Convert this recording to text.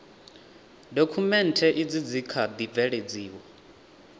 dokhumenthe izi dzi kha ḓi bveledziwa